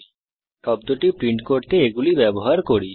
এখন এই শব্দটি প্রিন্ট করতে এগুলি ব্যবহার করি